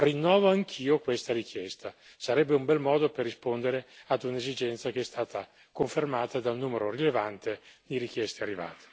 Rinnovo anch'io questa richiesta sarebbe un bel modo per rispondere a un'esigenza che è stata confermata da un numero rilevante di richieste arrivate.